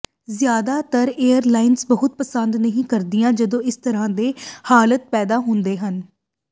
ਜ਼ਿਆਦਾਤਰ ਏਅਰਲਾਈਨਾਂ ਬਹੁਤ ਪਸੰਦ ਨਹੀਂ ਕਰਦੀਆਂ ਜਦੋਂ ਇਸ ਤਰ੍ਹਾਂ ਦੇ ਹਾਲਾਤ ਪੈਦਾ ਹੁੰਦੇ ਹਨ